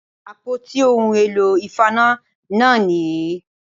Àpótí ohun èlò ìfaná náà nì yí